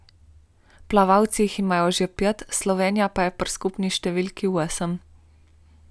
Plavalci jih imajo že pet, Slovenija pa je pri skupni številki osem.